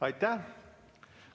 Aitäh!